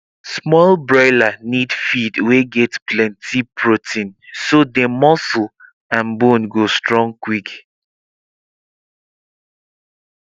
small broiler need feed wey get plenty protein so dem muscle and bone go strong quick